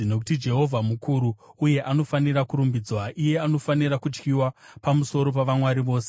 Nokuti Jehovha mukuru uye anofanira kurumbidzwa, iye anofanira kutyiwa pamusoro pavamwari vose.